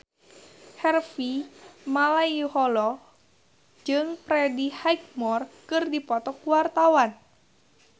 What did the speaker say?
Harvey Malaiholo jeung Freddie Highmore keur dipoto ku wartawan